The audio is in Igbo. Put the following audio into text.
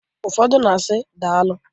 Ụfọdụ na-asi, "Daalụ!"